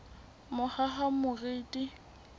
mohahamoriti